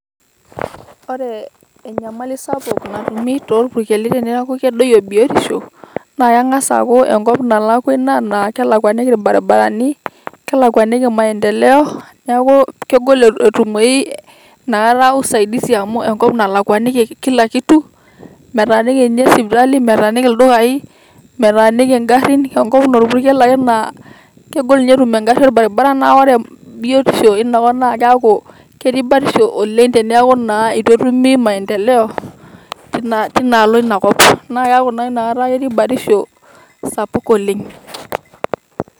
Ore enyamali sapuk natumii tolpurkeli teneeku kedoyio biotisho naa keng'as aaku Enkop naalakwa Ina naa kelakwaniki ilbarabarani, kelakwaniki maendeleo, neeku kegol entumoyu naa Ina usaidisi naa amu Enkop nalakwaniki Kila kitu , metaaniki ninye sipitali, metaaniki ildukaii, metaaniki egarrin Enkop naa olpurkel ake laa kegol Inye etum egarri ilbarabarani naa ore biotisho Ina kop naa keeku ketii batisho oleng' teneeku naa eitu etumi maendeleo ten tenaalo Ina kop naa keeku naa Inakata ketii batisho Sapuk oleng'.